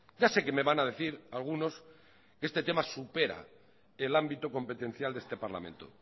ya sé que me van a decir algunos que este tema supera el ámbito competencial de este parlamento